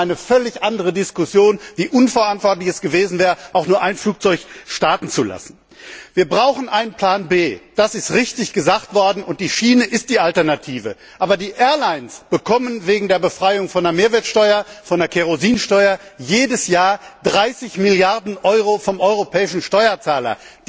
Wir hätten eine völlig andere Diskussion, nämlich wie unverantwortlich es gewesen wäre, auch nur ein Flugzeug starten zu lassen. Wir brauchen einen Plan B. Das ist richtig gesagt worden. Und die Schiene ist die Alternative! Die Fluggesellschaften bekommen wegen der Befreiung von der Kerosinsteuer jedes Jahr 30 Milliarden Euro vom europäischen Steuerzahler.